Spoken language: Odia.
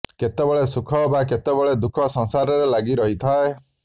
କେତେବେଳେ ସୁଖ ବା କେତେବେଳେ ଦୁଃଖ ସଂସାରରେ ଲାଗି ରହିଥାଏ